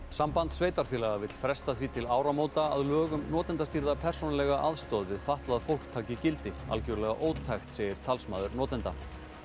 Samband sveitarfélaga vill fresta því til áramóta að lög um notendastýrða persónulega aðstoð við fatlað fólk taki gildi algjörlega ótækt segir talsmaður notenda